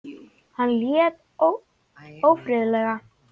Hann lét ófriðlega.